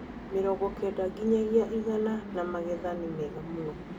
mĩrongo kenda nginyagia igana na magetha nĩ mega mũno.